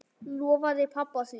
Lofaði pabba því.